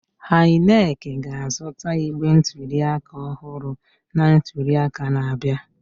INEC ga-azụta igbe ntuliaka ọhụrụ na ntuliaka na-abịa.